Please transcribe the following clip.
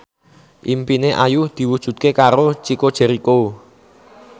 impine Ayu diwujudke karo Chico Jericho